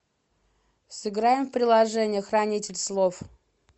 сыграем в приложение хранитель слов